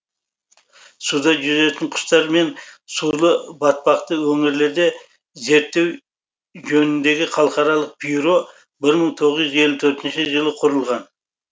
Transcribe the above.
суда жүзетін құстар мен сулы батпақты өңірлерде зерттеу жөніндегі халықаралық бюро бір мың тоғыз жүз елу төртінші жылы құрылған